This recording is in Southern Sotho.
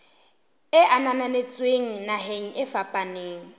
e ananetsweng naheng e fapaneng